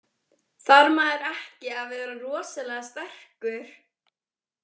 Þarf maður ekki að vera rosalega sterkur?